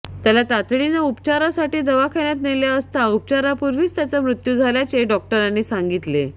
त्याला तातडीने उपचारासाठी दवाखान्यात नेले असता उपचारापूर्वीच त्याचा मृत्यू झाल्याचे डॉक्टरांनी सांगितले